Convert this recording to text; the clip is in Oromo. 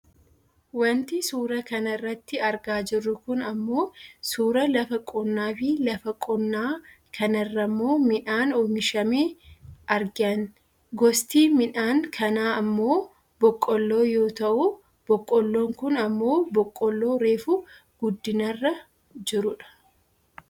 Wanti suuraa kanarratti argaa jirru kun ammoo suuraa lafa qonnaafi lafa qonnaa kanarrammoo midhaan oomishamee argian. Gosti midhaan kanaa ammoo boqqoolloo yoo ta'u boqqoolloon kun ammoo boqqoolloo reefu guddinarra jirudha.